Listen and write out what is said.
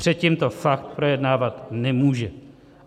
Předtím to fakt projednávat nemůže.